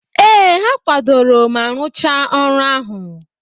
Ee, ha kwadoro ma rụchaa ọrụ ahụ.